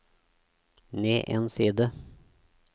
ned en side